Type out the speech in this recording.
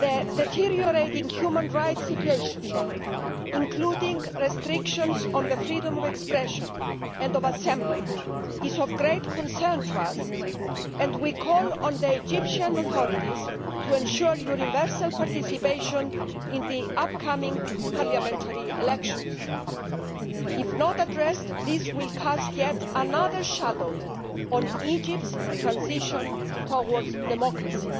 The deteriorating human rights situation, including restrictions on the freedom of expression and of assembly is of great concern to us, and we call on the Egyptian authorities to ensure universal participation in the upcoming parliamentary elections. If not addressed, this issue will cast yet another shadow on Egypt's transition towards democracy.